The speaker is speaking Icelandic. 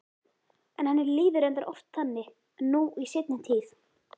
En henni líður reyndar oft þannig nú í seinni tíð.